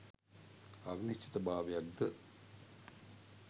අවිනිශ්චිත භාවයක් ද